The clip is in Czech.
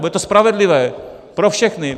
Bude to spravedlivé pro všechny.